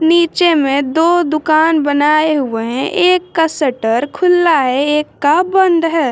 नीचे में दो दुकान बनाए हुए हैं एक का शटर खुला है एक का बंद है।